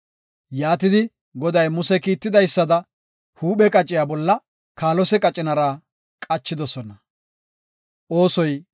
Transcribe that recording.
Yaatidi, Goday Muse kiitidaysada, huuphe qaciya bolla kaalose qacinara qachidosona.